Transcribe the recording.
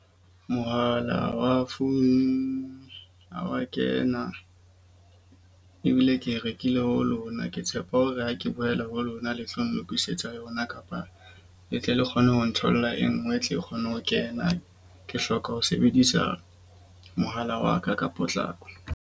Mohala wa phone ha wa kena ebile ke e rekile ho lona. Ke tshepa hore ha ke boela ho lona, le tlo ntokisetsa yona kapa le tle le kgone ho ntholla e nngwe. E tle e kgone ho kena. Ke hloka ho sebedisa mohala wa ka ka potlako.